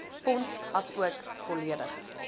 fonds asook volledige